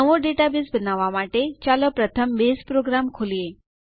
નવો ડેટાબેઝ બનાવવા માટે ચાલો પ્રથમ બેઝ પ્રોગ્રામ ખોલીએ